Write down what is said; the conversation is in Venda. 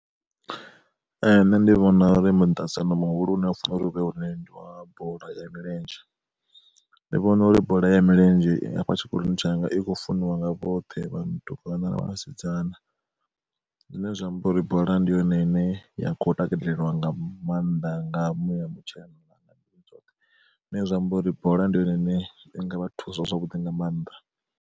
Ee nṋe ndi vhona uri miṱaṱisano muhulwane u funa uri u vhe hone ndi wa bola ya milenzhe. Ndi vhona uri bola ya milenzhe i hafha tshikoloni tshanga i khou funiwa nga vhoṱhe vhatukana na vhasidzana, zwine zwa amba uri bola ndi yone ine ya kho takaleliwa nga maanḓa nga muya mutshena, zwine zwa amba uri bola ndi yone ine i nga vhathu sa zwavhuḓi nga maanḓa.